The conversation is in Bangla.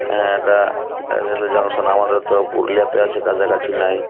অ্যা এটা রেলওয়ে জংশন আমাদের তো পুরুলিয়া কাছাকাছি নাই।